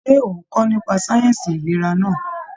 Ṣe o n kọ nípa sáyẹnsì ìlera náà?